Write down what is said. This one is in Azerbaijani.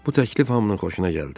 Bu təklif hamının xoşuna gəldi.